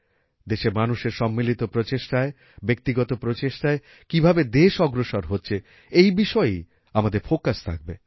দেশের মানুষের সম্মিলিত প্রচেষ্টায় ব্যক্তিগত প্রচেষ্টায় কী ভাবে দেশ অগ্রসর হচ্ছে এই বিষয়েই আমাদের ফোকাস থাকবে